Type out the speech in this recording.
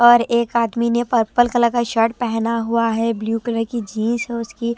और एक आदमी ने पर्पल कलर का शर्ट पहना हुआ है ब्लू कलर की जींस है उसकी--